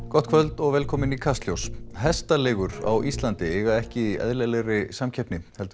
gott kvöld og velkomin í Kastljós hestaleigur á Íslandi eiga ekki í eðlilegri samkeppni heldur